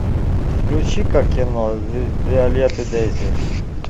включи ка кино виолет и дейзи